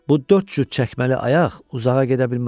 Bu dörd cür çəkməli ayaq uzağa gedə bilməz.